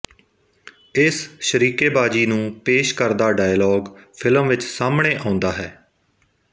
ਇਸ ਸ਼ਰੀਕੇਬਾਜ਼ੀ ਨੂੰ ਪੇਸ਼ ਕਰਦਾ ਡਾਇਲਾਗ ਫਿਲਮ ਵਿੱਚ ਸਾਹਮਣੇ ਆਉਂਦਾ ਹੈ